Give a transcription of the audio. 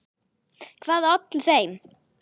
Hvað olli þeim?